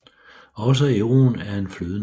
Også euroen er en flydende valuta